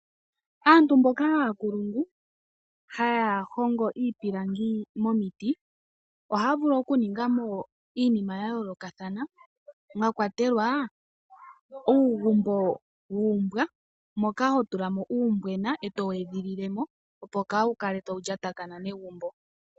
Aantu mboka aankulungu haya hongo iipilangi momiti ohaya vulu oku ninga mo iinima ya yoolokathana mwa kwatelwa uugumbo wuumbwa moka ho tula mo uumbwena eto wu edhililemo opo kawu kale tawu lyatakana negumbo.